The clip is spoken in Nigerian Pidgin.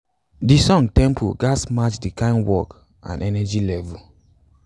the song tempo ghats match de kyn work and energy level